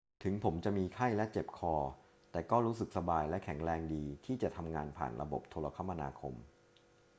ถึงผมจะมีไข้และเจ็บคอ แต่ก็รู้สึกสบายและแข็งแรงดีที่จะทำงานผ่านระบบโทรคมนาคม